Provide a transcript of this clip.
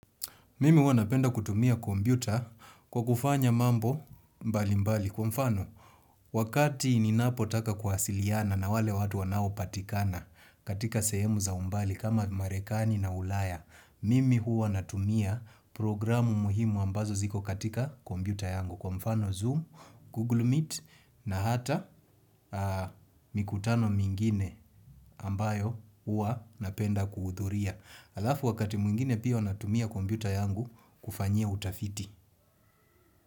Mimi hua napenda kutumia kompyuta kwa kufanya mambo mbali mbali kwa mfano wakati ninapotaka kuwasiliana na wale watu wanaopatikana katika sehemu za umbali kama marekani na ulaya mimi hua natumia programu muhimu ambazo ziko katika kompyuta yangu kwa mfano zoom google meet na hata mikutano mingine ambayo hua napenda kuhudhuria alafu wakati mwingine pia hua natumia kompyuta yangu kufanyia utafiti.